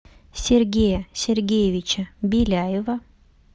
сергея сергеевича беляева